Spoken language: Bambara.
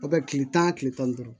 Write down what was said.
A bɛ kile tan kile tan ni duuru